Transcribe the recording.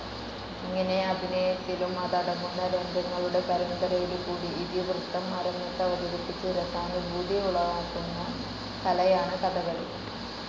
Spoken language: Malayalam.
ഇങ്ങനെ അഭിനയത്തിലും അതടങ്ങുന്ന രംഗങ്ങളുടെ പരമ്പരയിലും കൂടി ഇതിവൃത്തം അരങ്ങത്ത് അവതരിപ്പിച്ച് രസാനുഭൂതി ഉളവാക്കുന്ന കലയാണ് കഥകളി.